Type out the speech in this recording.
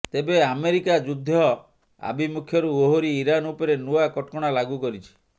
ତେବେ ଆମେରିକା ଯୁଦ୍ଧ ଆଭିମୁଖ୍ୟରୁ ଓହରି ଇରାନ ଉପରେ ନୂଆ କଟକଣା ଲାଗୁ କରିଛି